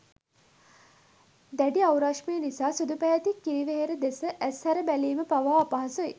දැඩි අවුරශ්මිය නිසා සුදු පැහැති කිරිවෙහෙර දෙස ඇස් ඇර බැලීම පවා අපහසුයි